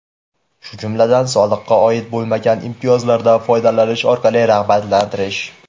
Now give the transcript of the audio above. shu jumladan soliqqa oid bo‘lmagan imtiyozlardan foydalanish orqali rag‘batlantirish;.